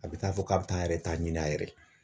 A be taa fɔ k'a be taa ,a yɛrɛ ta ɲini a yɛrɛ ye.